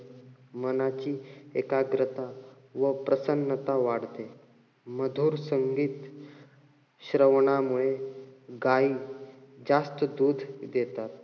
मनाची एकाग्रता व प्रसन्नता वाढते. मधुर संगीत श्रवणामुळे गायी जास्त दूध देतात.